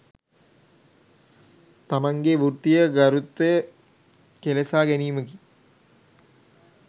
තමන්ගේ වෘත්තීය ගරුත්වය කෙලෙසා ගැනීමකි